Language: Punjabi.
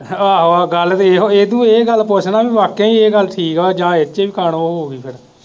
ਆਹੋ ਗੱਲ ਵੇਖ ਇਹਨੂੰ ਇਹ ਗੱਲ ਪੁੱਛ ਨਾ ਬਈ ਵਾਕਿਆ ਹੀ ਇਹ ਗੱਲ ਠੀਕ ਹੈ ਜਾਂ ਇਹ ਚ ਵੀ ਕਾਣੋ ਹੋਊਗੀ ਫੇਰ